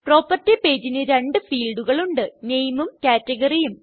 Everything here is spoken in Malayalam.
പ്രോപ്പർട്ടി പേജിന് രണ്ട് ഫീൽഡുകൾ ഉണ്ട് Nameഉം Categoryഉം